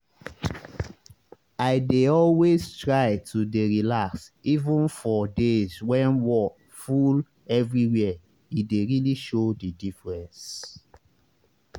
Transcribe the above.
i dey always try to dey relax even for days when wor full everywhere e dey really show the diffreence